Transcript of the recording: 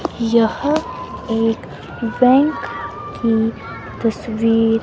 यहां एक बैंक की तस्वीर--